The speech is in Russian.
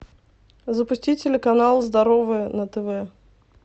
запусти телеканал здоровое на тв